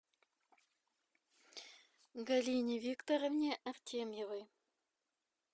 галине викторовне артемьевой